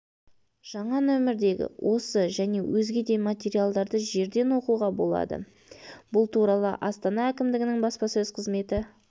жаңа нөмірдегі осы және өзге де материалдарды жерден оқуға болады бұл туралы астана әкімдігінің баспасөз қызметі